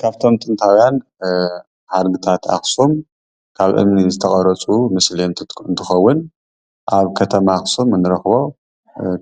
ካብቶም ጥንታዊያን ሓድግታት ኣክሱም ካብ እምኒ ዝተቀረፁ ምስሊ እንትትከውን ኣብ ከተማ ኣክሱም እንረክቦ